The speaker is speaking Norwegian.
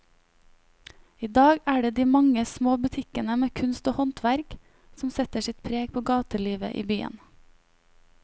I dag er det de mange små butikkene med kunst og håndverk som setter sitt preg på gatelivet i byen.